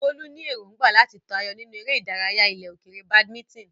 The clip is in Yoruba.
Bolu ní èrògbà láti tayọ nínú eré ìdárayá ilẹ̀ òkèèrè badminton.